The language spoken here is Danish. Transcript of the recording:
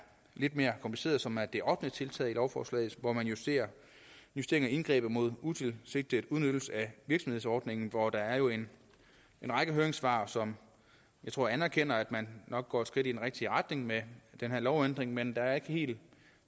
lidt mere kompliceret og som er det ottende tiltag i lovforslaget hvor man justerer justerer indgrebet mod utilsigtet udnyttelse af virksomhedsordningen hvor der jo er en række høringssvar som anerkender at man nok går et skridt i den rigtige retning med den her lovændring men der er ikke helt